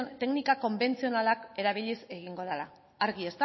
teknika konbentzionalak erabiliz egingo dala argi